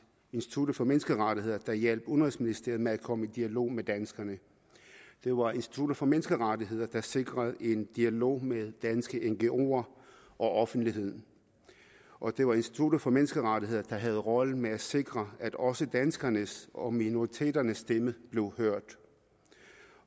institut for menneskerettigheder der hjalp udenrigsministeriet med at komme i dialog med danskerne det var institut for menneskerettigheder der sikrede en dialog med danske ngoer og offentligheden og det var institut for menneskerettigheder der havde rollen med at sikre at også danskernes og minoriteternes stemme blev hørt